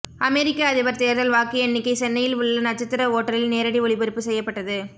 அமெரிக்க அதிபர் தேர்தல் வாக்கு எண்ணிக்கை சென்னையில் உள்ள நட்சத்திர ஓட்டலில் நேரடி ஒளிபரப்பு செய்யப்பட்டது